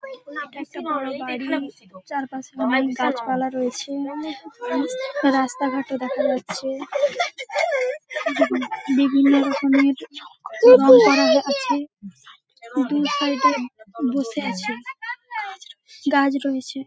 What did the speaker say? এইটা একটা বড় বাড়ি চারপাশে অনেক গাছপালা রয়েছে রাস্তা রাস্তাঘাটও দেখা যাচ্ছে বিভি বিভিন্ন রকমের রং করা আছে দুই সাইড -এ বসে আছে গাছ রয়েছে।